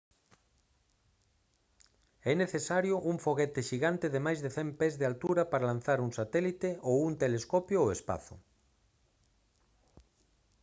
é necesario un foguete xigante de máis de 100 pés de altura para lanzar un satélite ou un telescopio ao espazo